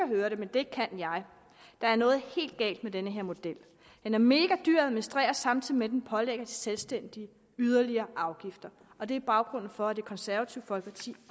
høre det men det kan jeg der er noget helt galt med den her model den er megadyr at administrere samtidig med at den pålægger de selvstændige yderligere afgifter og det er baggrunden for at det konservative folkeparti